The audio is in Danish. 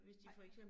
Nej